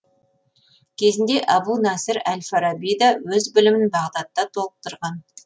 кезінде әбу наср әл фараби да өз білімін бағдатта толықтырған